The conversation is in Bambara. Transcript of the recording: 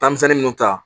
Tamisɛnni minnu ta